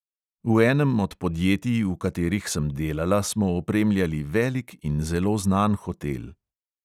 V enem od podjetij, v katerih sem delala, smo opremljali velik in zelo znan hotel.